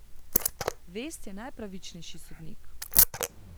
Vest je najpravičnejši sodnik!